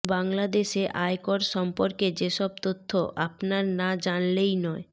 বাংলাদেশে আয়কর সম্পর্কে যেসব তথ্য আপনার না জানলেই নয়